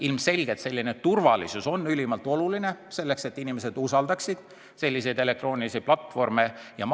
Ilmselgelt on selline turvalisus ülimalt oluline, selleks et inimesed usaldaksid elektroonilisi platvorme.